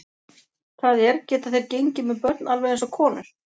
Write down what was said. Það er, geta þeir gengið með börn alveg eins og konur?